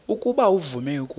ukuba uvume ukuba